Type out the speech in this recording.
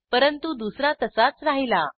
परंतु दुसरा तसाच राहिला